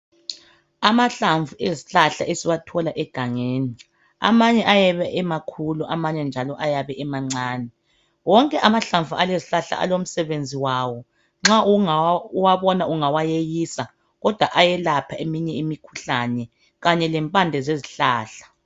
Amahlamvu ezihlahla esiwathola egangeni ,amanye ayabe emakhulu amanye njalo ayabe emancane wonke amahlamvu alezihlahla alomsobenzi wawo nxa uwabona ungawayeyisa kodwa ayelapha eminye imikhuhlane kanye lempande zezihlahla .